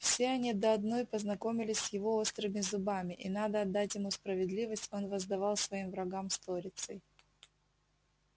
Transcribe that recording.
все они до одной познакомились с его острыми зубами и надо отдать ему справедливость он воздавал своим врагам сторицей